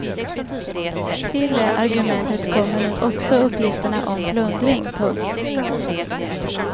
Till det argumentet kommer nu också uppgifterna om plundring. punkt